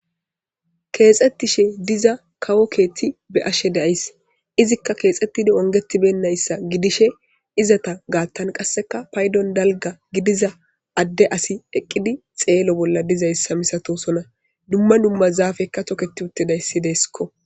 Keexettishe diza kawo keethti be ashe deays izikka keexxettidi ongetibennayssa gidishe izata gaattan qasseka paydon dalga gidiza adde asi eqqidi xeelo bolla dizayssa misatosona dumma dumma zaafekka toketi utte dayssideeskko.